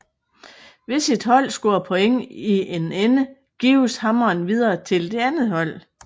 Hvis et hold scorer point i en ende gives hammeren videre til det andet hold